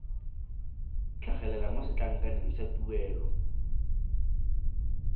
tlhagelela mo setlankaneng sa tuelo